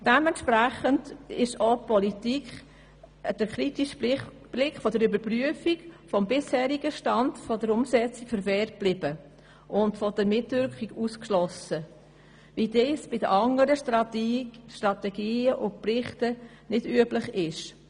Dementsprechend blieb der Politik der kritische Blick einer Überprüfung des bisherigen Stands der Umsetzung verwehrt, wie das bei anderen Strategien und Berichten unüblich ist.